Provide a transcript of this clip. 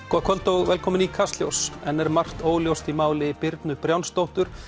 kvöld og velkomin í Kastljós enn er margt óljóst í máli Birnu Brjánsdóttur